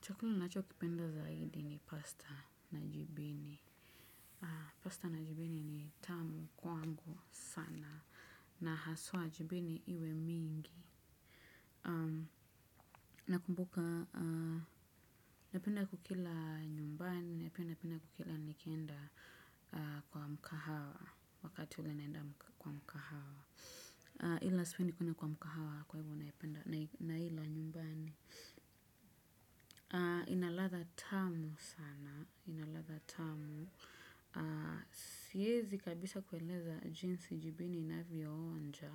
Chakula ninacho kipenda zaidi ni pasta na jibini. Pasta na jibini ni tamu kwangu sana na haswa jibini iwe mingi. Nakumbuka, napenda kukila nyumbani, na pia napenda kukila nikenda kwa mkahawa wakati ule naenda kwa mkahawa. Ila sipendi kwenda kwa mkahawa kwa ivo naila nyumbani. Ina ladha tamu sana ina ladha tamu siwezi kabisa kueleza jinsi jibini inavyonja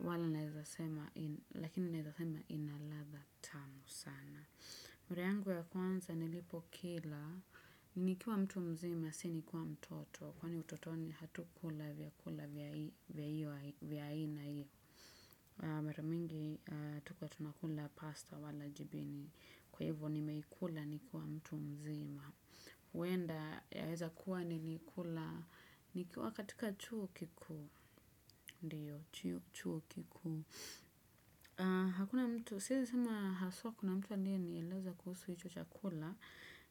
wala naeza sema lakini naeza sema ina ladha tamu sana. Mara yangu ya kwanza nilipo kila nikiwa mtu mzima si nikiwa mtoto kwani utotoni hatukula vyakula vya iyo vya aina iyo. Mara mingi hatukuwa tunakula pasta wala jibini kwa hivyo nimeikula nikiwa mtu mzima. Huenda yaweza kuwa nilikula nikiwa katika chuu kikuu ndio, chuo kikuu. Hakuna mtu, siwezi sema haswa kuna mtu aliyenieleza kuhusu hicho chakula.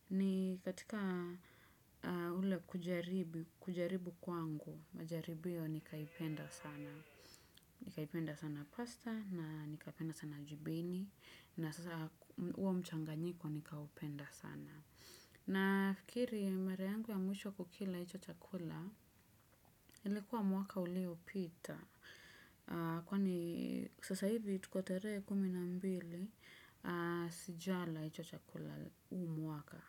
Ni katika ule kujaribu kwangu majaribio nikaipenda sana nikaipenda sana pasta na nikapenda sana jibini na sasa huo mchanganyiko nika upenda sana. Na fikiri mara yangu ya mwisho kukila hicho chakula ilikuwa mwaka ulio pita. Kwani sasa hivi tuko tarehe kumi na mbili sijala hicho chakula huu mwaka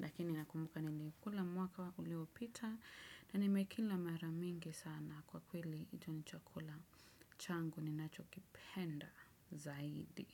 lakini nakumbuka niliikula mwaka ulio pita na nimekila mara mingi sana kwa kweli hicho ni chakula changu ni nacho kipenda zaidi.